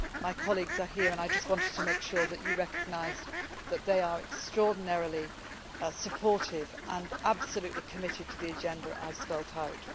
SADC. My colleagues are here and I just wanted to make sure that you recognised that they are extraordinarily supportive and absolutely committed to the agenda I have spelled